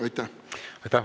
Aitäh!